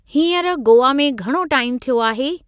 हींअर गोआ में घणो टाइमु थियो आहे?